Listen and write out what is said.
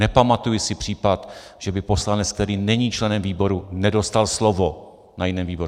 Nepamatuji si případ, že by poslanec, který není členem výboru, nedostal slovo na jiném výboru.